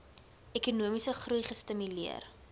ekonomiese groei gestimuleer